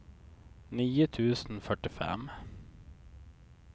nio tusen fyrtiofem